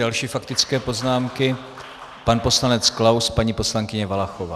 Další faktické poznámky - pan poslanec Klaus, paní poslankyně Valachová.